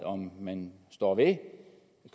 om man står ved